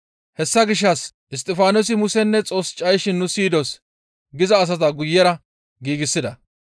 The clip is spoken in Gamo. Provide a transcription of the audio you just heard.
Hessa gishshas, «Isttifaanosi Musenne Xoos cayishin nu siyidos» giza asata guyera giigsida.